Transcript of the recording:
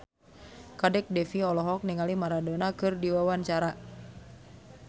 Kadek Devi olohok ningali Maradona keur diwawancara